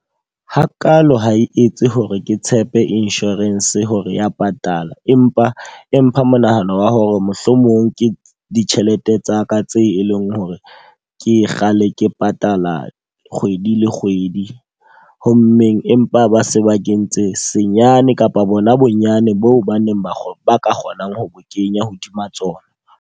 Hakalo ha e etse hore ke tshepe insurance hore ya patala. Empa empa monahano wa hore mohlomong ke ditjhelete tsa ka tse e leng hore ke ka le ke patala kgwedi le kgwedi. Ho mmeng empa ba se ba kentse senyane kapa bona bonyane boo ba neng ba ka kgonang ho kenya hodima tsona.